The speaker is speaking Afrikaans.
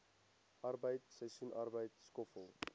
arbeid seisoensarbeid skoffel